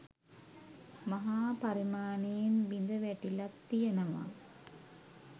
මහා පරිමාණයෙන් බිඳ වැටිලත් තියෙනවා.